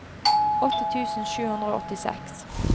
åtti tusen sju hundre og åttiseks